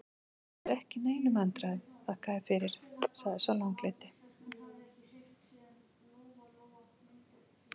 Ég er ekki í neinum vandræðum, þakka þér fyrir, sagði sá langleiti.